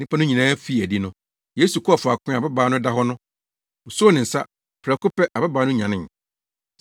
Nnipa no nyinaa fii adi no, Yesu kɔɔ faako a ababaa no da hɔ no. Osoo ne nsa. Prɛko pɛ, ababaa no nyanee.